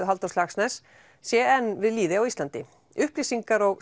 Halldórs Laxness sé enn við lýði á Íslandi upplýsingar og